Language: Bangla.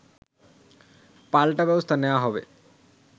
পাল্টা ব্যবস্থা নেয়া হবে